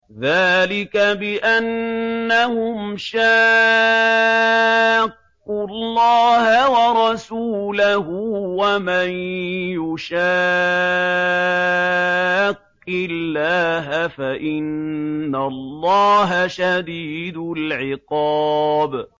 ذَٰلِكَ بِأَنَّهُمْ شَاقُّوا اللَّهَ وَرَسُولَهُ ۖ وَمَن يُشَاقِّ اللَّهَ فَإِنَّ اللَّهَ شَدِيدُ الْعِقَابِ